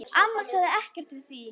Amma sagði ekkert við því.